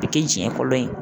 O ti tiɲɛ kolon ye.